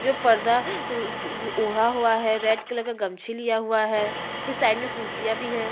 जो पर्दा ओ उ ओ ओढ़ा हुआ है रेड कलर का गमछी लिया हुआ है फिर साइड में कुर्सियाँ भी है।